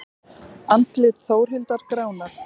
Andlit Þórhildar gránar.